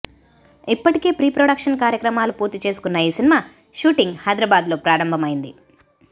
ఇప్పటికే pre production కార్యక్రమాలు పూర్తి చేసుకున్న ఈ సినిమా షూటింగ్ హైదరాబాద్లో ప్రారంభమైంది